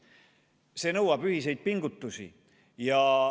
See nõuab ühiseid pingutusi.